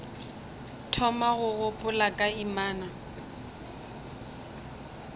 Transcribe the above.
thoma go gopola ka inama